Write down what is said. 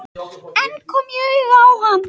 En kom ég auga á hann?